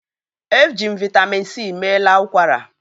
Eji m Vị́tamị́n c meela ụkwara